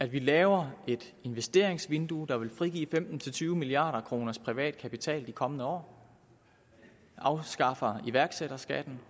vi laver et investeringsvindue der vil frigive femten til tyve milliard kroner privat kapital de kommende år vi afskaffer iværksætterskatten